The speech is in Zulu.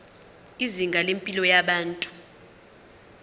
izinga lempilo yabantu